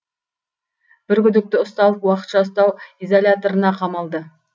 бір күдікті ұсталып уақытша ұстау изоляторына қамалды